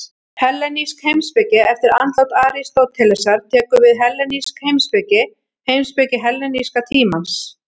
Hellenísk heimspeki Eftir andlát Aristótelesar tekur við hellenísk heimspeki, heimspeki helleníska tímans.